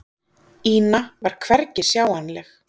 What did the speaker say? Ína var hvergi sjáanleg.